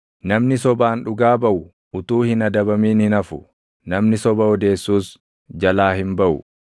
Namni sobaan dhugaa baʼu utuu hin adabamin hin hafu; namni soba odeessuus jalaa hin baʼu.